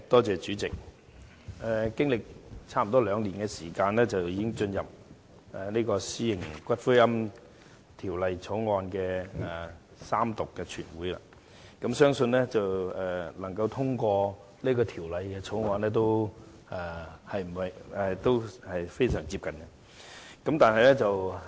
主席，經歷接近兩年時間，現在《私營骨灰安置所條例草案》已進入全體委員會審議階段及將會進行三讀，相信也快要獲得通過了。